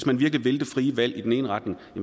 man virkelig vil det frie valg i den ene retning